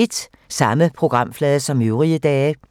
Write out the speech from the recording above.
Samme programflade som øvrige dage